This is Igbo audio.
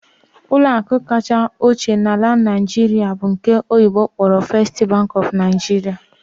Ụlọ akụ kacha ochie na Naịjirịa bụ nke oyibo kpọrọ 'First Bank of Nigeria'